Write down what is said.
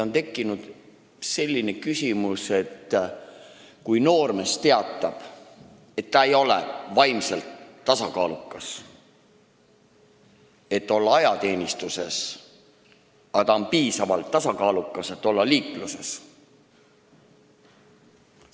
On tekkinud selline küsimus: kui noormees teatab, et ta ei ole vaimselt tasakaalukas, selleks et olla ajateenistuses, siis kuidas on ta piisavalt tasakaalukas selleks, et olla liikluses?